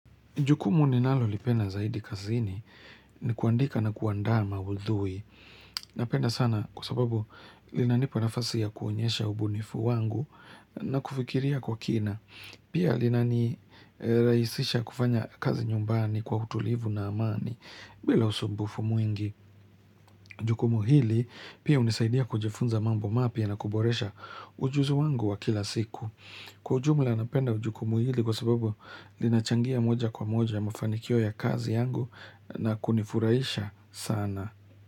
Jukumu ninalo lipenda zaidi kazini ni kuandika na kuandaa maudhui. Napenda sana kwa sababu linanipa nafasi ya kuonyesha ubunifu wangu na kufikiria kwa kina. Pia linanirahisisha kufanya kazi nyumbani kwa utulivu na amani bila usumbufu mwingi. Jukumu hili pia hunisaidia kujifunza mambo mapya na kuboresha ujuzi wangu wa kila siku. Kwa jumla napenda jukumu hili kwa sababu linachangia moja kwa moja mafanikio ya kazi yangu na kunifurahisha sana.